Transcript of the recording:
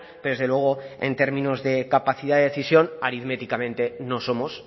pero desde luego en términos de capacidad de decisión aritméticamente no somos